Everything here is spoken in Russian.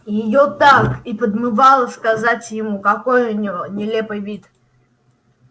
её так и подмывало сказать ему какой у него нелепый вид